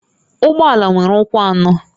Ụgbọ ala nwere ụkwụ anọ